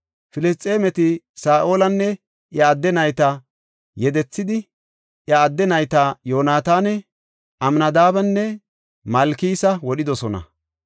Filisxeemeti Saa7olanne iya adde nayta yedethidi, iya adde nayta Yoonataana, Amnadaabenne Malkisa wodhidosona.